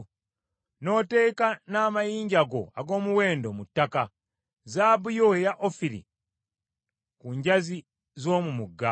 n’oteeka n’amayinja go ag’omuwendo mu ttaka, zaabu yo eya Ofiri ku njazi z’omu mugga,